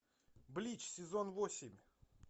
блич сезон восемь